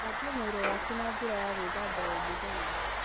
Thambia mwĩrĩ waku na njĩra ya gwĩthamba o mũthenya.